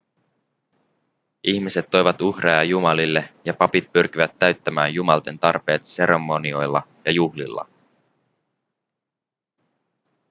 ihmiset toivat uhreja jumalille ja papit pyrkivät täyttämään jumalten tarpeet seremonioilla ja juhlilla